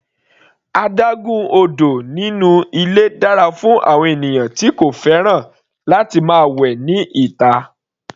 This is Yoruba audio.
Adágún odò inú ilé dára fún àwọn ènìyàn tí kò fẹ́ràn láti máa wẹ ní ìta.